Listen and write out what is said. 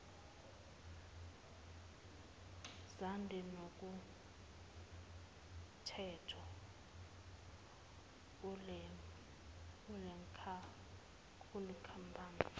zande kunomthetho kulenkampani